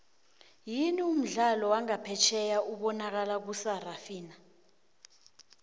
yini umdlali wangaphefjheya obanakala kusarafina